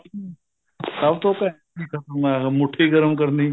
ਸਭ ਤੋ ਘੈਂਟ ਕੰਮ ਏ ਮੁੱਠੀ ਗਰਮ ਕਰਨੀ